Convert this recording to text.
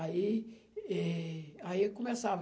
Aí eh, aí eu começava.